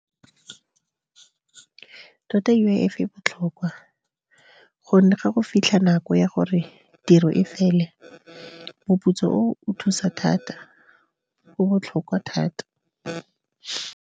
Tota U_I_F e botlhokwa gonne ga go fitlha nako ya gore tiro e fele, moputso o o thusa thata, o botlhokwa thata.